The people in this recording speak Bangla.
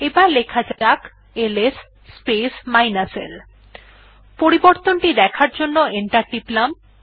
এবার লেখা যাক এলএস স্পেস l পরিবর্তন দেখার জন্য এন্টার টিপলাম